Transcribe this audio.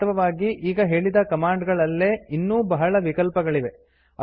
ವಾಸ್ತವವಾಗಿ ಈಗ ಹೇಳಿದ ಕಮಾಂಡ್ ಗಳಲ್ಲೇ ಇನ್ನೂ ಬಹಳ ವಿಕಲ್ಪಗಳಿವೆ